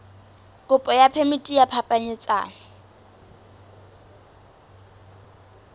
kopo ya phemiti ya phapanyetsano